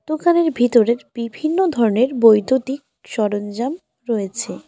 দোকানের ভিতরের বিভিন্ন ধরনের বৈদ্যুতিক সরঞ্জাম রয়েছে।